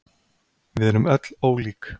við erum öll ólík